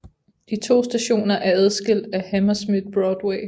De to stationer er adskilt af Hammersmith Broadway